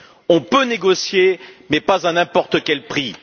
On peut négocier, mais pas à n'importe quel prix.